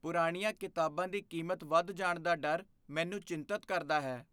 ਪੁਰਾਣੀਆਂ ਕਿਤਾਬਾਂ ਦੀ ਕੀਮਤ ਵੱਧ ਜਾਣ ਦਾ ਡਰ ਮੈਨੂੰ ਚਿੰਤਤ ਕਰਦਾ ਹੈ।